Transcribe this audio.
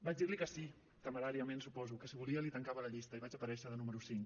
vaig dir li que sí temeràriament suposo que si volia li tancava la llista i vaig aparèixer de número cinc